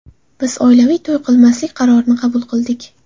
Biz oilaviy to‘y qilmaslik qarorini qabul qildik.